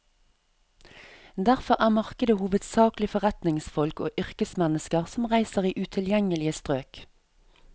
Derfor er markedet hovedsakelig forretningsfolk og yrkesmennesker som reiser i utilgjengelige strøk.